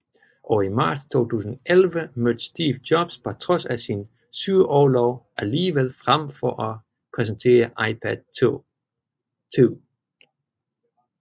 Og i marts 2011 mødte Steve Jobs på trods af sin sygeorlov alligevel frem for at præsentere iPad 2